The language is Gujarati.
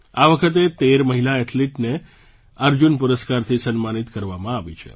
આ વખતે 13 મહિલા એથ્લીટને અર્જુન પુરસ્કારથી સન્માનિત કરવામાં આવી છે